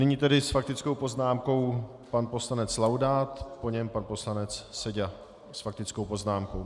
Nyní tedy s faktickou poznámkou pan poslanec Laudát, po něm pan poslanec Seďa s faktickou poznámkou.